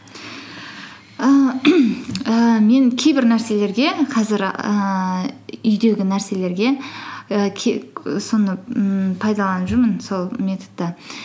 ііі ііі мен кейбір нәрселерге қазір ііі үйдегі нәрселерге і ммм пайдаланып жүрмін сол методты